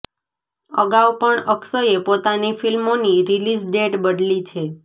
અગાઉ પણ અક્ષયે પોતાની ફિલ્મોની રિલીઝ ડેટ બદલી છે